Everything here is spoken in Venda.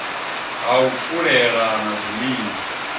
ha u fulela na zwiliwa